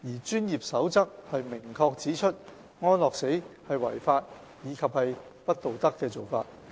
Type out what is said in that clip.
《專業守則》明確指出，安樂死是違法及不道德的做法。